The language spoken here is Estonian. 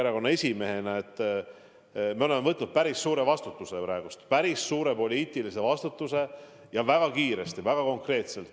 Erakonna esimehena ma ütlen, et me oleme võtnud päris suure vastutuse – päris suure poliitilise vastutuse ja seda väga kiiresti, väga konkreetselt.